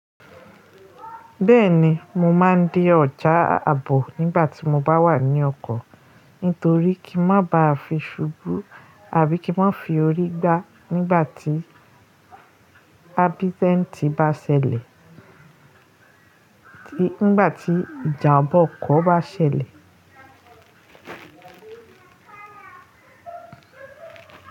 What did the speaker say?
Bẹ́ẹ̀ni, mo máa ń dín ọjà àbọ̀ nígbà tí mo bá wà ní ọkọ̀, nítorí kí n má ba à fi ṣubú àbí kí n má fi orí gbá nígbà tí abítẹ́ntì bá ṣẹlẹ̀, nígbà tí ìjàmbá ọkọ̀ bá ṣẹlẹ̀.